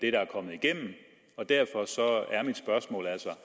er kommet igennem og derfor er mit spørgsmål altså